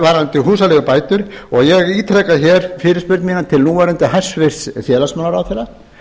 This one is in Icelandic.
varðandi húsaleigubætur og ég ítreka hér fyrirspurn mína til núverandi hæstvirtan félagsmálaráðherra